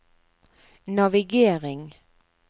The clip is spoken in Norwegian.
navigering